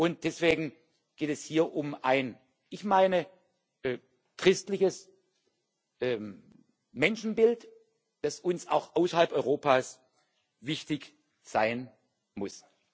Und deswegen geht es hier um ein wie ich meine christliches Menschenbild, das uns auch außerhalb Europas wichtig sein muss.